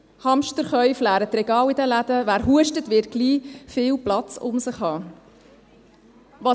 Hamsterkäufe leeren die Regale in den Läden, und wer hustet, wird bald viel Platz um sich herum haben.